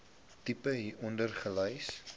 tipe hieronder gelys